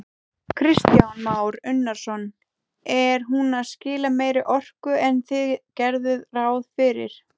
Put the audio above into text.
Kristján Már Unnarsson: Er hún að skila meiri orku en þið gerðuð ráð fyrir?